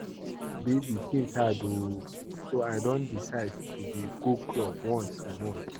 Babe things hard oo so I don decide to dey go club once a month